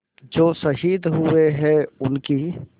जो शहीद हुए हैं उनकी